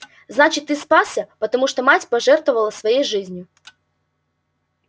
значит ты спасся потому что мать пожертвовала своей жизнью